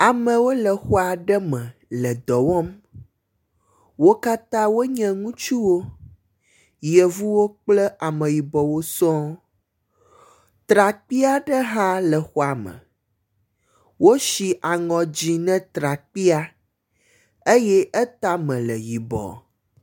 Ame aɖewo le xɔ aɖe me le dɔ wɔm. Wo katã wonye ŋutsuwo, yevuwo kple ameyibɔwo sɔ̃ɔ. Trakpui aɖe hã le xɔa me. Wosi aŋɔ dzɛ̃ ne trakpuia eye etame le yibɔ.